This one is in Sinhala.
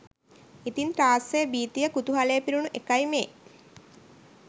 ඉතින් ත්‍රාස්‍ය භිතිය කුතුහලය පිරුණු එකයි මේ